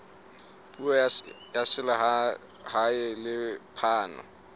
puso ya selehae le phano